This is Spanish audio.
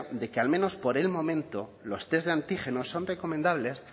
de que al menos por el momento los test de antígenos son recomendables